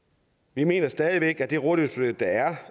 vi mener stadig væk at det rådighedsbeløb der er